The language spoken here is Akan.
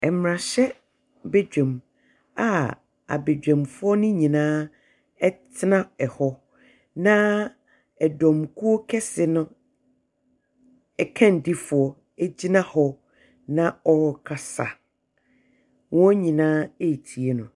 Mmarahyɛbadwam a abadwamfoɔ no nyinaa tena hɔ, na dɔmkuo kɛse no akannifoɔ gyina hɔ na ɔrekasa. Wɔn nyinaa retie no.